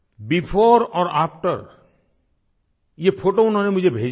before और after ये photo उन्होंने मुझे भेजे हैं